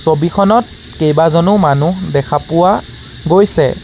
ছবিখনত কেইবাজনো মানুহ দেখা পোৱা গৈছে।